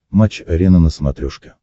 матч арена на смотрешке